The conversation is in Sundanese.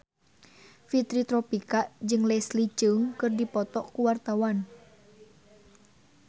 Fitri Tropika jeung Leslie Cheung keur dipoto ku wartawan